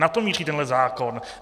Na to míří tenhle zákon.